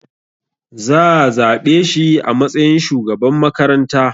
Zaa zaɓe shi a matsayin shugaban makaranta